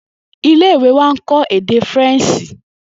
Ile-iwe wa nkọ ede Faranse.